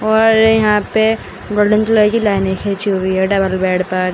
और यहां पे गोल्डन कलर की लाइनें खींची हुई हैं डबल बेड पर।